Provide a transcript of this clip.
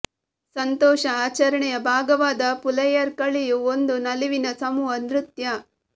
ಸಂತೋಷ ಆಚರಣೆಯ ಭಾಗವಾದ ಪುಲಯರ್ ಕಳಿಯು ಒಂದು ನಲಿವಿನ ಸಮೂಹ ನೃತ್ಯ